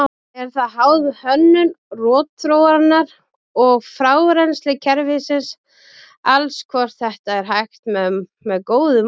Er það háð hönnun rotþróarinnar og frárennsliskerfisins alls hvort þetta er hægt með góðu móti.